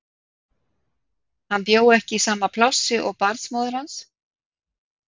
Hann bjó ekki í sama plássi og barnsmóðir hans.